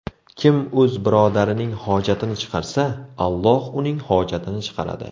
Kim o‘z birodarining hojatini chiqarsa, Alloh uning hojatini chiqaradi.